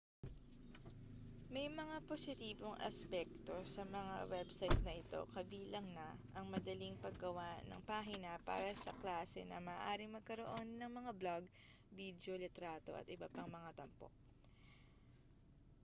may mga positibong aspekto sa mga website na ito kabilang na ang madaling paggawa ng pahina para sa klase na maaaring magkaroon ng mga blog bidyo litrato at iba pang mga tampok